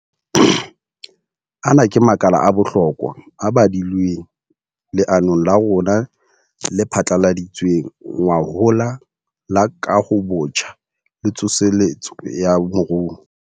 Ana ke makala a bohlokwa a badilweng leanong la rona le phatlaladitsweng ngwahola la Kahobotjha le Tsoseletso ya Moruo.